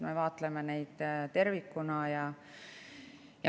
Me vaatleme tervikuna.